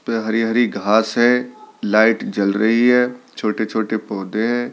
पे हरी-हरी घास है लाइट जल रही है छोटे-छोटे पौधे हैं।